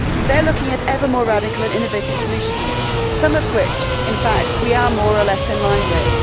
They are looking at ever more radical and innovative solutions, some of which in fact we are more or less in line with.